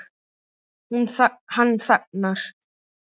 Hann þagnar.